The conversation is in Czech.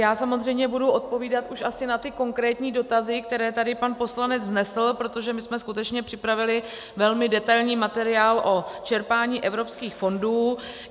Já samozřejmě budu odpovídat už asi na ty konkrétní dotazy, které tady pan poslanec vznesl, protože my jsme skutečně připravili velmi detailní materiál o čerpání evropských fondů.